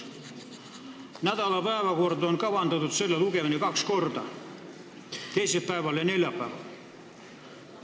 Nädala päevakorda on kavandatud selle lugemine kaks korda, teisipäeval ja neljapäeval.